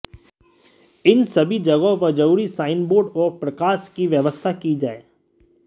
इन सभी जगहों पर जरूरी साइन बोर्ड और प्रकाश की व्यवस्था की जाए